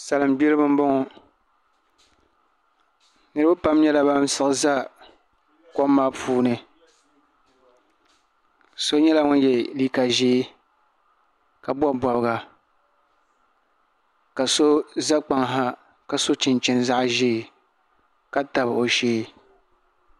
Salin gbiribi n boŋo niraba pam nyɛla ban siɣi ʒɛ kom maa puuni so nyɛla ŋun yɛ liiga ʒiɛ ka bob bobga ka so ʒɛ kpaŋ ha ka so chinchini zaɣ ʒiɛ ka tabi o shee